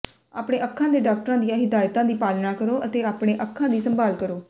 ਆਪਣੇ ਅੱਖਾਂ ਦੇ ਡਾਕਟਰਾਂ ਦੀਆਂ ਹਿਦਾਇਤਾਂ ਦੀ ਪਾਲਣਾ ਕਰੋ ਅਤੇ ਆਪਣੇ ਅੱਖਾਂ ਦੀ ਸੰਭਾਲ ਕਰੋ